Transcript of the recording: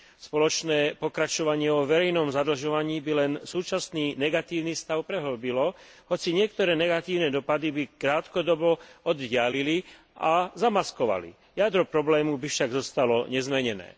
Spoločné pokračovanie vo verejnom zadlžovaní by len súčasný negatívny stav prehĺbilo, hoci niektoré negatívne dopady by sa krátkodobo oddialili a zamaskovali, jadro problému by však zostalo nezmenené.